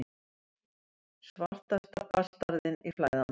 Svarta bastarðinn í flæðarmálinu.